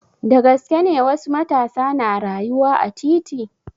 Da gaske ne wasu matasa na rayuwa a titi?